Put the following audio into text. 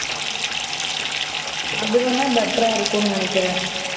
அது வேன better அ இருக்கும் நு நினைகிரென் முன்ன பாருங்க